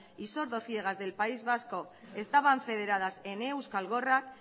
y sordo ciegas del país vasco estaban federadas en euskal gorrak